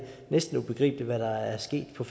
næsten ubegribeligt hvad der er sket på